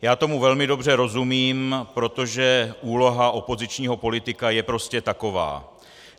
Já tomu velmi dobře rozumím, protože úloha opozičního politika je prostě taková.